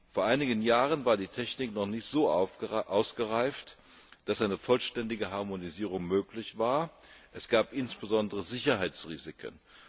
Vor einigen Jahren war die Technik noch nicht so ausgereift, dass eine vollständige Harmonisierung möglich war es gab insbesondere Sicherheitsrisiken.